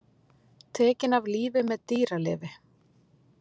Tekinn af lífi með dýralyfi